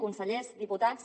consellers diputats